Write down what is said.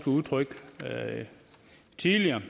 udtryk der tidligere